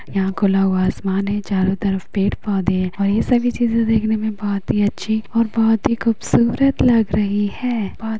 यहाँ खुला हुआ आसमान है चारों तरफ पेड़-पौधे है और ये सभी चीज़े देखने में बहोत ही अच्छी और बहुत ही खूबसूरत लग रही है। बोहोत --